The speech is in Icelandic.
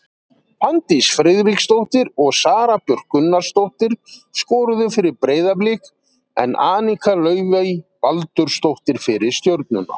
Fanndís Friðriksdóttir og Sara Björk Gunnarsdóttir skoruðu fyrir Breiðablik en Anika Laufey Baldursdóttir fyrir Stjörnuna.